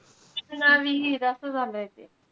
ना विहीर असं झालंय ते.